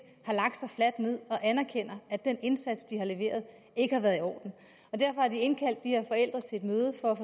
har lagt sig fladt ned og anerkender at den indsats de har leveret ikke har været i orden og derfor har de indkaldt de her forældre til et møde for